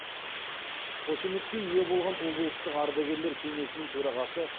қошеметке ие болған облыстық ардагерлер кеңесінің төрағасы